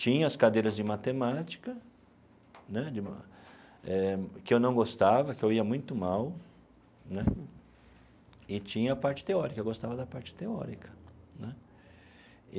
Tinha as cadeiras de matemática né, que eu não gostava, que eu ia muito mal né, e tinha a parte teórica, eu gostava da parte teórica né.